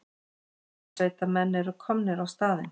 Björgunarsveitarmenn eru komnir á staðinn